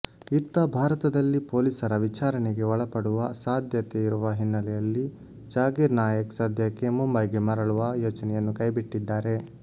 ಇತ್ತ ಭಾರತದಲ್ಲಿ ಪೊಲೀಸರ ವಿಚಾರಣೆಗೆ ಒಳಪಡುವ ಸಾಧ್ಯತೆ ಇರುವ ಹಿನ್ನೆಲೆಯಲ್ಲಿ ಜಾಕಿರ್ ನಾಯಕ್ ಸದ್ಯಕ್ಕೆ ಮುಂಬೈಗೆ ಮರಳುವ ಯೋಚನೆಯನ್ನು ಕೈಬಿಟ್ಟಿದ್ದಾರೆ